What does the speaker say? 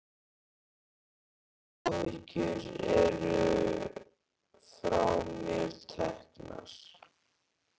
Líka áhyggjur eru frá mér teknar.